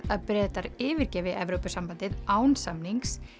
að Bretar yfirgefi Evrópusambandið án samnings